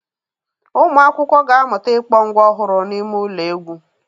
Ụmụ akwụkwọ ga-amụta ịkpọ ngwa ọhụrụ n'ime ụlọ egwu.